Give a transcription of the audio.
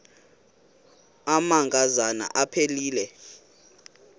amanka zana aphilele